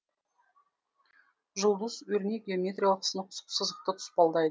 жұлдыз өрнек геометриялық сынық сызықты тұспалдайды